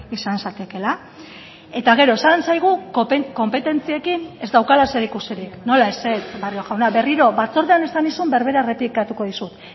izan zatekeela eta gero esan zaigu konpetentziekin ez daukala zerikusirik nola ezetz barrio jauna berriro batzordean esan nizun berbera errepikatuko dizut